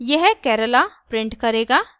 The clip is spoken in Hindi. यह kerala प्रिंट करेगा